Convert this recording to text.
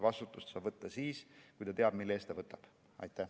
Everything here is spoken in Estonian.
Vastutust saab võtta siis, kui ta teab, mille eest ta seda võtab.